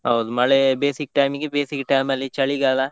ಹೌದು ಮಳೆ ಬೇಸಿಗೆ time ಇಗೆ, ಬೇಸಿಗೆ time ಅಲ್ಲಿ ಚಳಿಗಾಲ